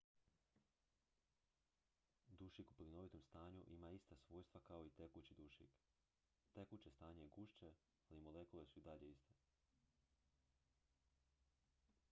dušik u plinovitom stanju ima ista svojstva kao i tekući dušik tekuće stanje je gušće ali molekule su i dalje iste